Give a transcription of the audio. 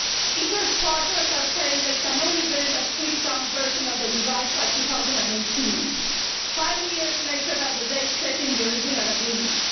ITER's partners are saying they can only build a stripped down version of the device by 2018, five years later than the date set in the original agreement.